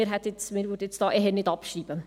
Wir würden das eher nicht abschreiben.